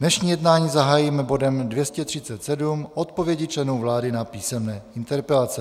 Dnešní jednání zahájíme bodem 237 - Odpovědi členů vlády na písemné interpelace.